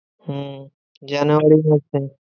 হম January মাসে।